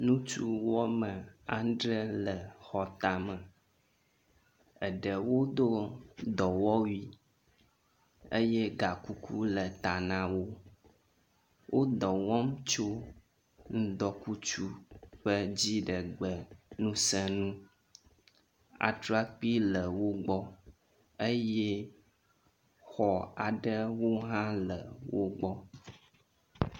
Ŋutsu wɔme adre le xɔtame eɖewo do dɔwɔwui eye gakuku le ta na wo. Wo dɔ wɔm tsio ŋdɔkutsu ƒe dziɖegbe ŋuse ŋu. atrakpi le wogbɔ eye xɔ aɖewo hã le wo gbɔ.